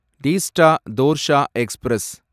Teesta Torsha express